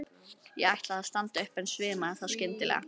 Ég ætlaði að standa upp en svimaði þá skyndilega.